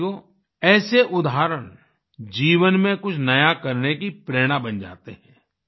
साथियो ऐसे उदाहरण जीवन में कुछ नया करने की प्रेरणा बन जाते हैं